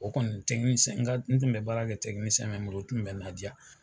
O kɔni tɛkinisiyɛn tun bɛ baara kɛ tɛkinisiyɛn mon bolo o tun bɛ n la diya.